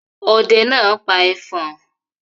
Ọdẹ náà pa ẹfọ̀n.